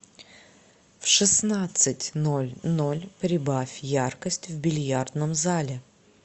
в шестнадцать ноль ноль прибавь яркость в бильярдном зале